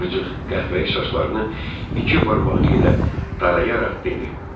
qıvrıcıq qəhvəyi saçlarını iki barmağı ilə darayaraq dedi.